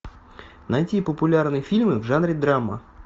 найти популярные фильмы в жанре драма